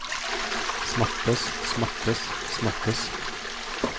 smattes smattes smattes